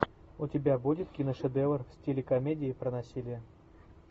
у тебя будет киношедевр в стиле комедии про насилие